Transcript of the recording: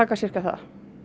sirka það